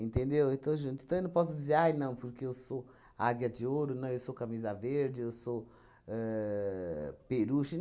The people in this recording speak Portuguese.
Entendeu? Eu estou junto. Então, eu não posso dizer ai não porque sou Águia de Ouro, não, eu sou Camisa Verde, que sou ahn Peruche